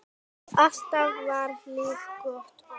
Alltaf var líf og fjör.